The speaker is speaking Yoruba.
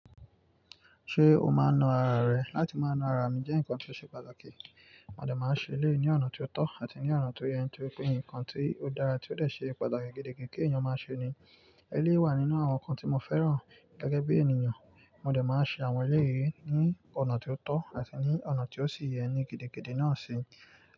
Ṣé o máa ń nu ara rẹ? Látí mó nú ara mí jẹ́ nkán tí ó ṣe pàtàkì. Móde máa ń ṣe eléyi ní ọ̀nà tí ó tọ̀ àti ní ọ̀nà tí ó yẹ, Ni torípé nkán tí ó dára tí ó dé sè pàtàkì gidi gan ki eyán máa ṣe ni. Eléyi wà nínu awọn nkán tí mó fẹràn gẹgẹ bí ènìyàn. Móde máa n ṣe awọn eléyí ní ọ̀nà tí ó tọ̀ àti ní ọ̀nà tí ó sì yẹ ni gidigidi náà ṣi.